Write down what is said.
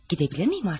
Gidə bilirmiyim artıq?